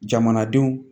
Jamanadenw